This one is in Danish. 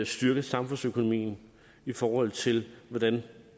styrke samfundsøkonomien i forhold til hvordan